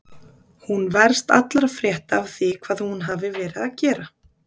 Hún verst allra frétta af því hvað hún hafi verið að gera.